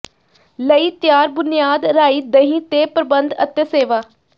ਲਈ ਤਿਆਰ ਬੁਨਿਆਦ ਰਾਈ ਦਹੀ ਤੇ ਪ੍ਰਬੰਧ ਅਤੇ ਸੇਵਾ